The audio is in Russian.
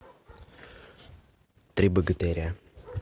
три богатыря